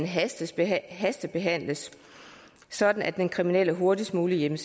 hastebehandlet sådan at den kriminelle hurtigst muligt ville